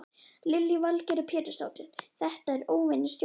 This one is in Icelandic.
Lillý Valgerður Pétursdóttir: Þetta er óvenjustórt?